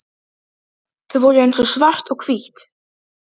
Þau voru eins og svart og hvítt.